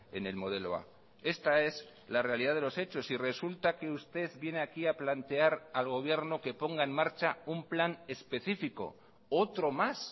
en el modelo a esta es la realidad de los hechos y resulta que usted viene aquí a plantear al gobierno que ponga en marcha un plan específico otro más